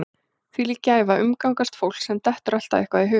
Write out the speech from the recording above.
Þvílík gæfa að umgangast fólk sem dettur alltaf eitthvað í hug.